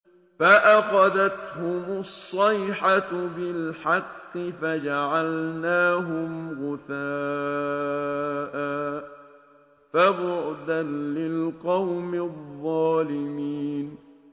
فَأَخَذَتْهُمُ الصَّيْحَةُ بِالْحَقِّ فَجَعَلْنَاهُمْ غُثَاءً ۚ فَبُعْدًا لِّلْقَوْمِ الظَّالِمِينَ